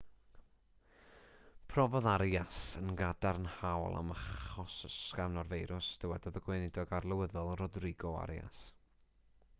profodd arias yn gadarnhaol am achos ysgafn o'r feirws dywedodd y gweinidog arlywyddol rodrigo arias